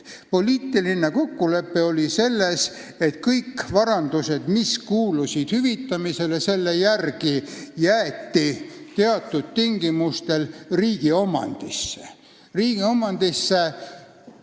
Poliitiline kokkulepe oli see, et kõik varad, mis kuulusid hüvitamisele, jäeti alguses teatud tingimustel formaalselt riigi omandisse.